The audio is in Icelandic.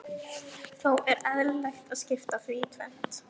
Þó er eðlilegt að skipta því í tvennt.